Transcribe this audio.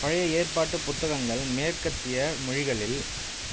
பழைய ஏற்பாட்டு புத்தகங்கள் மேற்கத்திய மொழிகளில்